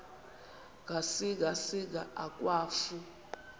ngasinga singa akwafu